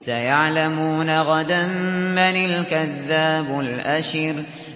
سَيَعْلَمُونَ غَدًا مَّنِ الْكَذَّابُ الْأَشِرُ